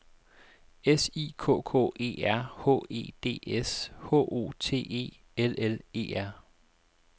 S I K K E R H E D S H O T E L L E R